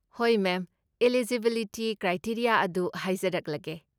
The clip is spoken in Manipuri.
ꯍꯣꯏ, ꯃꯦꯝ! ꯑꯦꯂꯤꯖꯤꯕꯤꯂꯤꯇꯤ ꯀ꯭ꯔꯥꯏꯇꯦꯔꯤꯌꯥ ꯑꯗꯨ ꯍꯥꯏꯖꯔꯛꯂꯒꯦ꯫